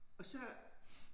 Og så